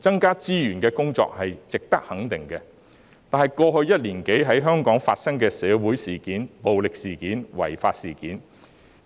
增加資源無疑值得肯定，但過去一年多在香港發生的社會事件、暴力事件、違法事件，